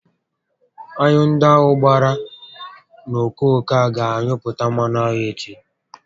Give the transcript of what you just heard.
Aṅụ ndị ahụ gbakọrọ n'okooko a gá anyụpụta mmanụ aṅụ echi